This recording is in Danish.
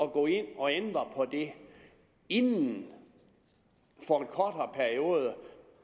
at gå ind og ændre på det inden for en kortere periode